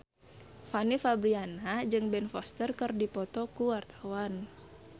Fanny Fabriana jeung Ben Foster keur dipoto ku wartawan